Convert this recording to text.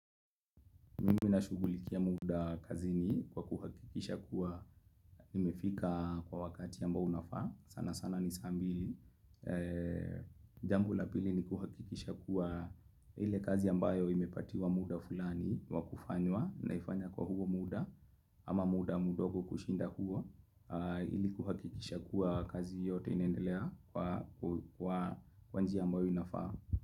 Mimi nashugulikia muda kazini kwa kuhakikisha kuwa nimefika kwa wakati ambao unafaa sana sana ni saa mbili Jambo la pili ni kuhakikisha kuwa, ile kazi ambayo imepatiwa muda fulani wa kufanywa naifanya kwa huo muda ama muda mdogo kushinda huo, ili kuhakikisha kuwa kazi yote inaendelea kwa kwa njia ambayo inafaa.